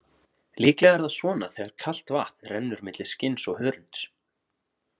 Líklega er það svona þegar kalt vatn rennur milli skinns og hörunds.